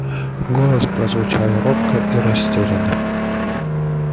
голос прозвучал робко и растерянно